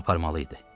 Onu aparmalı idi.